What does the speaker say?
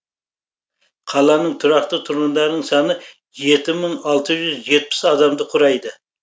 қаланың тұрақты тұрғындарының саны жеті мың алты жүз жетпіс адамды құрайды